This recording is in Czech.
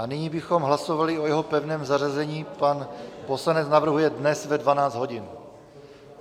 A nyní bychom hlasovali o jeho pevném zařazení, pan poslanec navrhuje dnes ve 12 hodin.